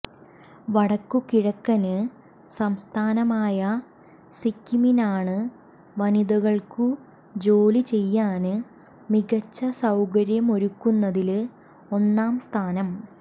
വടക്കു കിഴക്കന് സംസ്ഥാനമായ സിക്കിമിനാണ് വനിതകള്ക്കു ജോലി ചെയ്യാന് മികച്ച സൌകര്യമൊരുക്കുന്നതില് ഒന്നാം സ്ഥാനം